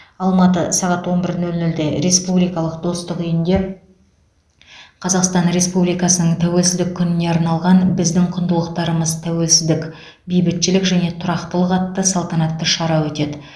алматы сағат он бір нөл нөлде республикалық достық үйінде қазақстан республикасының тәуелсіздік күніне арналған біздің құндылықтарымыз тәуелсіздік бейбітшілік және тұрақтылық атты салтанатты шара өтеді